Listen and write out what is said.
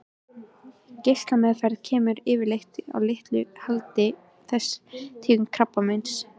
Geislameðferð kemur yfirleitt að litlu haldi við þessa tegund krabbameins.